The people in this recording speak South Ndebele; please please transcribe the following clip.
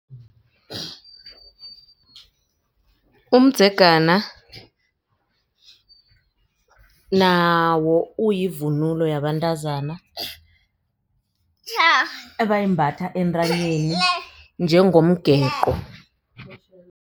Umdzegana nawo uyivunulo yabantazana ebayimbatha entanyeni njengomgeqo.